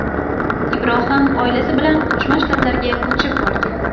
Ibrohim oilasi bilan Qo‘shma Shtatlarga ko‘chib borgan.